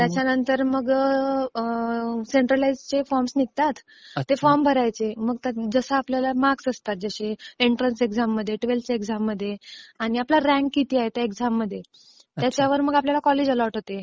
त्याच्यानंतर मग सेंट्रलाइज्ड चे फॉर्म्स निघतात. ते फॉर्म्स भरायचे. मग जसे आपल्याला मार्क्स असतात एंट्रन्स एक्साम मध्ये ट्वेल्थ च्या एक्साम मध्ये आणि आपला रँक किती आहे त्या एक्साम मध्ये त्याच्यावर मग आपल्याला कॉलेज अलोट होते.